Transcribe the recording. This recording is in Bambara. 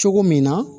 Cogo min na